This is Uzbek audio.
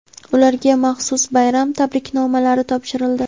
ularga maxsus bayram tabriknomalari topshirildi.